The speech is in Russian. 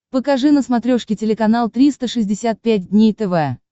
покажи на смотрешке телеканал триста шестьдесят пять дней тв